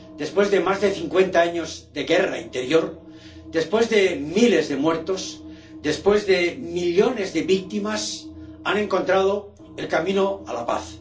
Después de más de cincuenta años de guerra interior, después de miles de muertos, después de millones de víctimas, han encontrado el camino a la paz.